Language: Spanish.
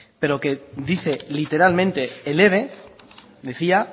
pero que dice literalmente el eve decía